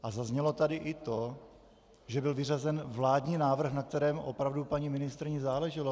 A zaznělo tady i to, že byl vyřazen vládní návrh, na kterém opravdu paní ministryni záleželo.